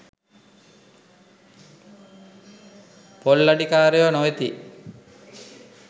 පොල් අඩිකාරයෝ නොවෙති.